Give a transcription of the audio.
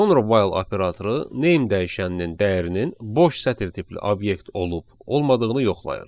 Sonra while operatoru name dəyişəninin dəyərinin boş sətir tipli obyekt olub olmadığını yoxlayır.